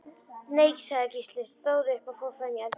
Nei, sagði Gísli, stóð upp og fór fram í eldhús.